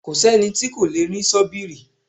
Kò sẹ́ni tí kò lè rí sọ́bìrì